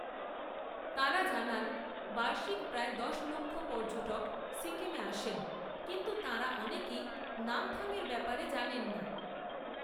তাঁরা জানান, বার্ষিক প্রায় দশ লক্ষ পর্যটক সিকিমে আসেন, কিন্তু তাঁরা অনেকেই নামথাংয়ের ব্যাপারে জানেন না